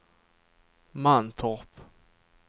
Mantorp